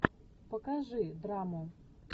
покажи драму